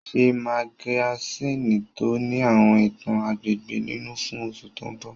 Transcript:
Ṣe magasíìnì tó ní àwọn ìtàn agbègbè nínú fún oṣù tó mbọ̀!